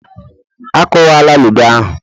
A kwuwala ludo ahụ.